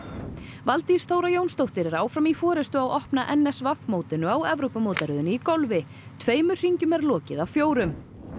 Valdís Þóra Jónsdóttir er áfram í forystu á opna n s w mótinu á Evrópumótaröðinni í golfi tveimur hringjum er lokið af fjórum